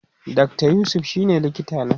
Dr yusuf shine likita na